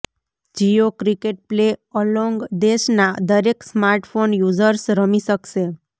Jio cricket play along દેશના દરેક smartphone users રમી શકશે